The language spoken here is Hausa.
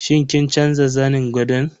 Shin kin canza zanin gadon?